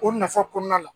O nafa kɔnɔna na